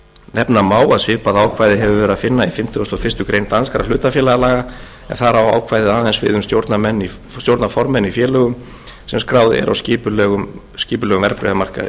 nefna má að svipað ákvæði hefur verið að finna í fimmtugasta og fyrstu grein danskra hlutafélagalaga en þar á ákvæðið aðeins við um stjórnarformenn í félögum sem skráð eru á skipulegum verðbréfamarkaði þá er